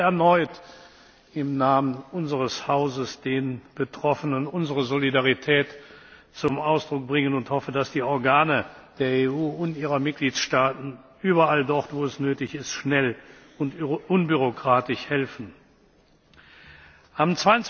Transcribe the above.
Ich möchte erneut im Namen unseres Hauses den Betroffenen unsere Solidarität zum Ausdruck bringen und hoffe, dass die Organe der EU und ihrer Mitgliedstaaten überall dort, wo es nötig ist, schnell und unbürokratisch helfen. Meine Damen und Herren! Am